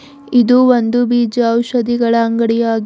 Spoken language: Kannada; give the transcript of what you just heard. ಇದು ಒಂದು ಬೀಜ ಔಷಧಿಗಳ ಅಂಗಡಿಯಾಗಿ--